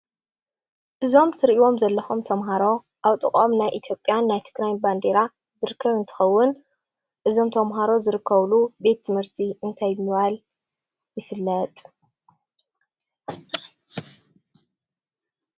እዞም እትሪእዎም ዘለኹም ተማሃሮ ኣብ ጥቀኦም ናይ ኢትዮጰያን ናይ ትግራይ ባንዴራ ዝርከብ እንትኸውን እዞም ተማሃሮ ዝርከብሉ ቤት ትምህርቲ እንታይ ብምባል ይፍለጥ ?